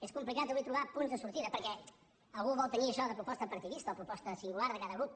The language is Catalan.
és complicat avui trobar punts de sortida perquè algú vol tenir això de proposta partidista o proposta singular de cada grup